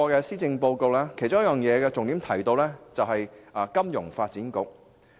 施政報告的重點之一，是香港金融發展局。